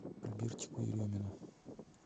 альбертику еремину